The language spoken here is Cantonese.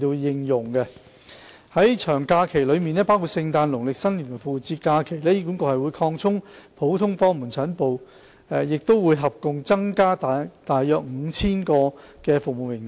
在長假期內包括聖誕、農曆新年及復活節期間，醫管局會擴充普通科門診診所服務，合共增加約 5,000 個的服務名額。